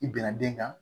I bɛnna den kan